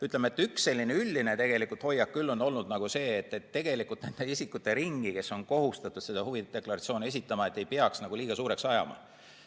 Samas üks selline üldine hoiak on küll olnud see, et tegelikult nende isikute ringi, kes on kohustatud seda huvide deklaratsiooni esitama, ei peaks väga suureks ajama.